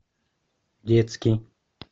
детский